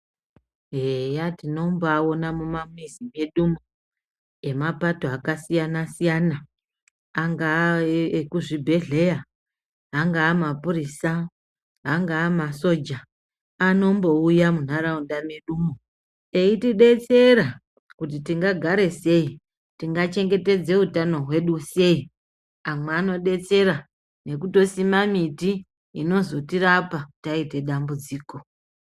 Eya tinombaona mumamizi medumo emapato akasiyana-siyana. Angaa ekuzvibhedhleya angaa mapurisa, angaa masoja. Anombouya muntaraunda medumo eitibetsera kuti tingagara sei tingachengetedze utano hwedu sei. Amwe anobetsera nekutosima miti inozotirapa taite dambudziko.